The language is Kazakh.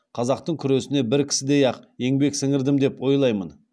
қазақтың күресіне бір кісідей ақ еңбек сіңірдім деп ойлаймын